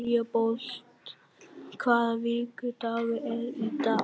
Leópold, hvaða vikudagur er í dag?